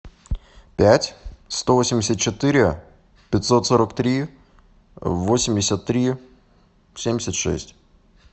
пять сто восемьдесят четыре пятьсот сорок три восемьдесят три семьдесят шесть